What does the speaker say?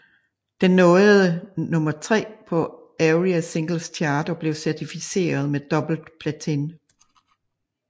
Den nåede nummer tre på ARIA Singles Chart og blev certificeret med dobbelt platin